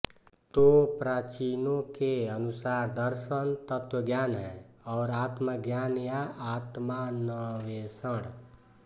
तो प्राचीनों के अनुसार दर्शन तत्वज्ञान है और आत्माज्ञान या आत्मान्वेषण